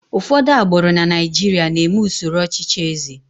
ụfọdụ agbụrụ na Naijiria na-eme usoro ọchịchị eze